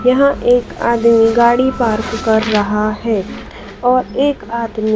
यहां एक आदमी गाड़ी पार्क कर रहा है और एक आदमी--